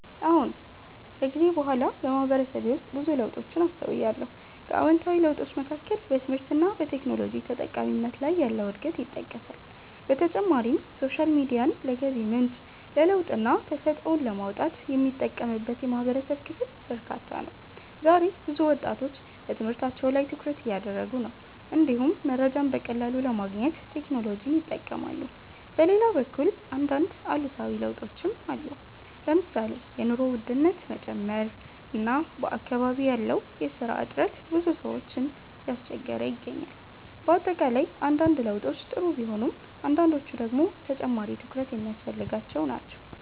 አዎን። ከጊዜ በኋላ በማህበረሰቤ ውስጥ ብዙ ለውጦችን አስተውያለሁ። ከአዎንታዊ ለውጦች መካከል በትምህርት እና በቴክኖሎጂ ተጠቃሚነት ላይ ያለው እድገት ይጠቀሳል። በተጨማሪም ሶሻል ሚዲያን ለገቢ ምንጭ፣ ለለውጥና ተሰጥኦን ለማውጣት የሚጠቀምበት የማህበረሰብ ክፍል በርካታ ነው። ዛሬ ብዙ ወጣቶች በትምህርታቸው ላይ ትኩረት እያደረጉ ነው፣ እንዲሁም መረጃን በቀላሉ ለማግኘት ቴክኖሎጂን ይጠቀማሉ። በሌላ በኩል አንዳንድ አሉታዊ ለውጦችም አሉ። ለምሳሌ የኑሮ ውድነት መጨመር እና በአካባቢ ያለው የስራ እጥረት ብዙ ሰዎችን እያስቸገረ ይገኛል። በአጠቃላይ አንዳንድ ለውጦች ጥሩ ቢሆኑም አንዳንዶቹ ደግሞ ተጨማሪ ትኩረት የሚያስፈልጋቸው ናቸው።